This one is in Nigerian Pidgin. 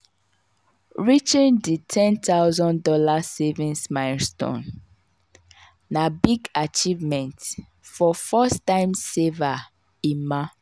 reaching di one thousand dollars0 savings milestone na big achievement for first-time saver emma.